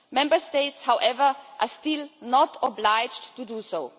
Member States, however, are still not obliged to do so.